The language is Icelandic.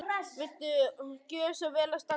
Og viltu gjöra svo vel að standa kyrr.